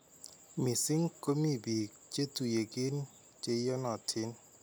misiing komii biik chetuyigin cheiyonotiin.